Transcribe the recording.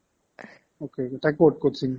ok , তাই ক'ত coaching